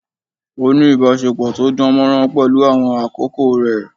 Ó ní ìbásepọ̀ to dán mọ́rán pẹ̀lú àwọn akẹ́kọ̀ọ́ rẹ̀